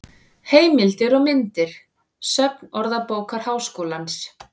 Heimildir og myndir: Söfn Orðabókar Háskólans.